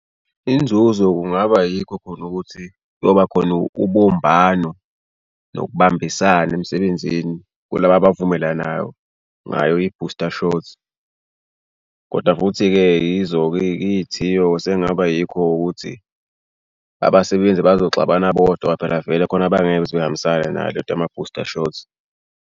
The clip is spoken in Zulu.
Inzuzo kungaba yikho khona ukuthi kuyobakhona ubumbano nokubambisana emsebenzini. Kulaba abavumelanayo ngayo i-booster shot. Koda futhi-ke yizo-ke iy'thiyo sekungaba yikho ukuthi abasebenzi bazoxabana bodwa phela vele khona bangeke beze behambisane nayo le nto yama-booster shots.